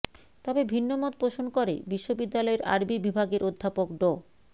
তবে ভিন্নমত পোষণ করে বিশ্ববিদ্যালয়ের আরবি বিভাগের অধ্যাপক ড